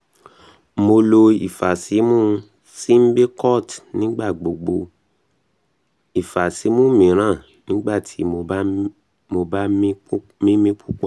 mo lo ifasimu symbicort nigbagbogbo & ifasimu miiran nigbati mo ba mimi pupọ